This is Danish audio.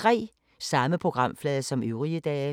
Samme programflade som øvrige dage